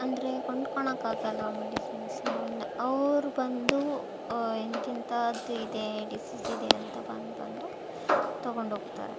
ಅಂದ್ರೆ ಕೊಂಡ್ಕೊಂನೊಕ್ ಆಗಲ್ಲ ಮೆಡಿಸಿನ್ಸ್ ಅವ್ರ್ ಬಂದು ಅಹ್ ಇಂತಿಂಥದ್ದು ಇದೆ ಡಿಸೀಸ್ ಇದೆ ಅಂದ್ ಬಂದ್ ಬಂದು ತಗೊಂಡ್ ಹೋಗ್ತಾರೆ.